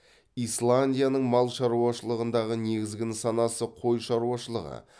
исландияның мал шаруашылығындағы негізгі нысанасы қой шаруашылығы